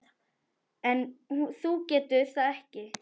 En þú getur það ekki.